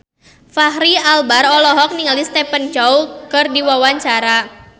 Fachri Albar olohok ningali Stephen Chow keur diwawancara